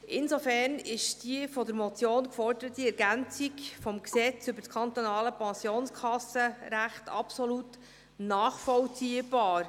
Insofern ist die von der Motion geforderte Ergänzung des PKG absolut nachvollziehbar.